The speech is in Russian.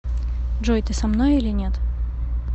джой ты со мной или нет